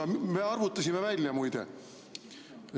Aga me arvutasime välja, muide.